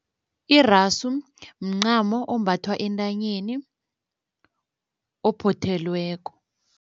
Irasu mncamo ombathwa entanyeni, ophothelweko.